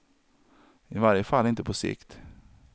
I varje fall inte på sikt.